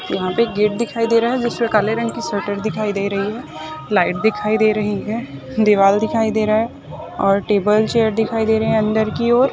यहाँ पे एक गेट दिखाई दे रहा है जिसमे काले रंग की शटर दिखाई दे रही है लाइट दिखाई दे रही है दीवार दिखाई दे रहा है और टेबल चेअर दिखाई दे रही है अंदर की ओर।